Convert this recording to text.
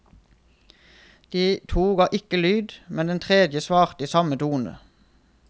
De to ga ikke lyd, men den tredje svarte i samme tone.